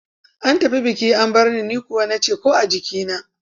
An tafi biki an bar in, ni kuwa na ce ‘ko a jikina.